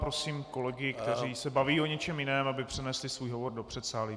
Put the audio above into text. Prosím kolegy, kteří se baví o něčem jiném, aby přenesli svůj hovor do předsálí.